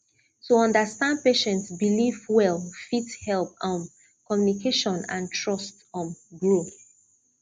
to understand patient belief well fit help um communication and trust um grow